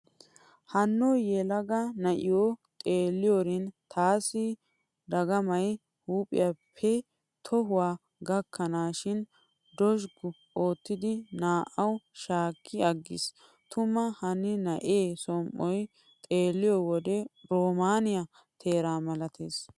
Hanno yelaga na'iyo xeelliyorin taaassi dagamay huuphphiyaappe tohuwa gakkanaassi dozhggu oottidi naa"awu shaakki aggiis. Tuma hanni na'e som"oy xeelliyo wode roomaaniya teera malatees.